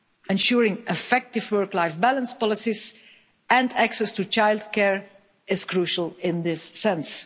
Ensuring effective work-life balance policies and access to childcare is crucial in this sense.